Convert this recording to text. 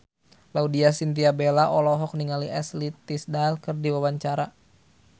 Laudya Chintya Bella olohok ningali Ashley Tisdale keur diwawancara